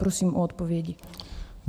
Prosím o odpovědi.